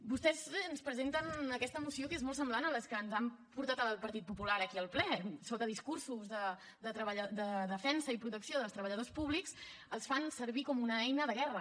vostès ens presenten aquesta moció que és molt semblant a les que ens ha portat el partit popular aquí al ple sota discursos de defensa i protecció dels treballadors públics els fan servir com a una eina de guerra